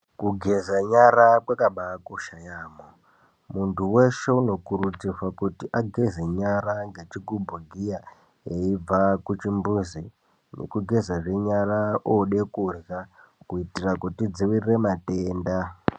Kugeza nyara kwakaba kosha yamho, muntu weshe unokurudzirwa kuti ageze nyara ngechigubhu giya eibva kuchimbuzi nekugeza zve nyara ode kudya kuitira kuti tidzivirire matenda